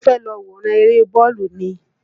Ṣé o fẹ́ lọ wòran eré bọ́ọ̀lù ni?